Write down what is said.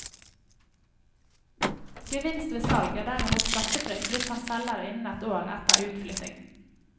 Gevinst ved salg er derimot skattefritt hvis han selger innen et et år etter utflytting.